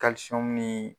ni